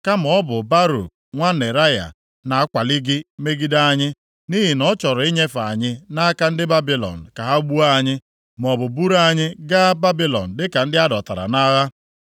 Kama ọ bụ Baruk nwa Neraya na-akwalị gị megide anyị, nʼihi na ọ chọrọ inyefe anyị nʼaka ndị Babilọn ka ha gbuo anyị, maọbụ buru anyị gaa Babilọn dịka ndị a dọtara nʼagha.”